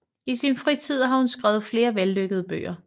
I sin fritid har hun skrevet flere vellykkede bøger